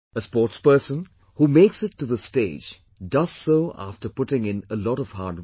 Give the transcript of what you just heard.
A sportsperson, who makes it to this stage, does so after putting in a lot of hard work